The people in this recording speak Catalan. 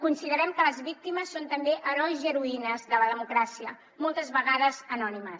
considerem que les víctimes són també herois i heroïnes de la democràcia moltes vegades anònimes